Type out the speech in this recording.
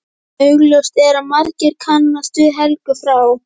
Augljóst er að margir kannast við Helgu frá